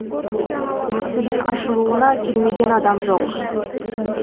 мүсіннің ашылуына келмеген адам жоқ